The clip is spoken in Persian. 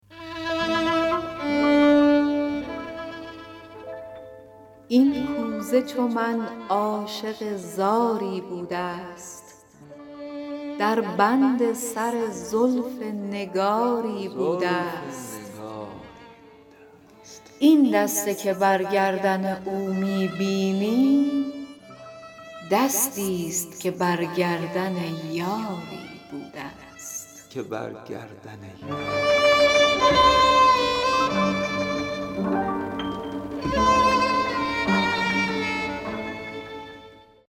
این کوزه چو من عاشق زاری بوده ست در بند سر زلف نگاری بوده ست این دسته که بر گردن او می بینی دستی ست که بر گردن یاری بوده ست